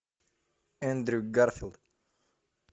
эндрю гарфилд